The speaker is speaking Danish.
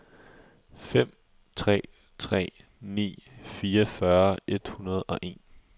fem tre tre ni fireogfyrre et hundrede og en